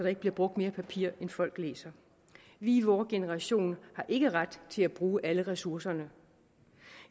ikke bliver brugt mere papir end folk læser vi i vor generation har ikke ret til at bruge alle ressourcerne